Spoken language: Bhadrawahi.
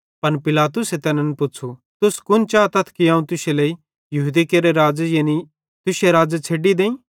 पन पिलातुसे तैनन् पुच़्छ़ू तुस कुन चातथ कि अवं तुश्शे लेइ यहूदी केरे राज़े यानी तुश्शे राज़े छ़ेड्डी देईं